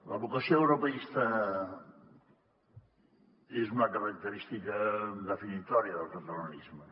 la vocació europeista és una característica definitòria del catalanisme